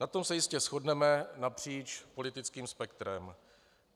Na tom se jistě shodneme napříč politickým spektrem.